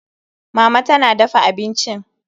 Mama tana dafa abincin.